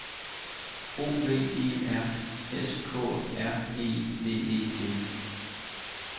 O V E R S K R E V E T